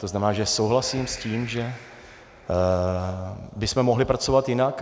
To znamená, že souhlasím s tím, že bychom mohli pracovat jinak.